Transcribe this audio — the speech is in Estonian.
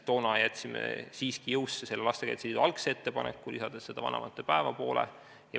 Toona jätsime siiski jõusse Lastekaitse Liidu algse ettepaneku, lisades vanavanemate päeva.